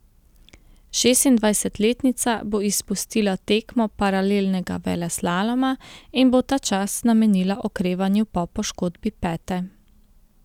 Šestindvajsetletnica bo izpustila tekmo paralelnega veleslaloma in bo ta čas namenila okrevanju po poškodbi pete.